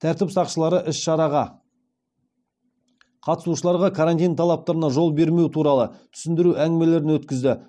тәртіп сақшылары іс шараға қатысушыларға карантин талаптарына жол бермеу туралы түсіндіру әңгімелерін өткізді